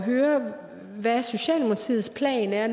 høre hvad socialdemokratiets plan er